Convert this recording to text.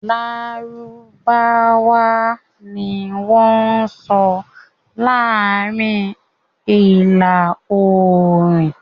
Lárúbáwá ni wọ́n sọ laarin Aarin Ila-oorun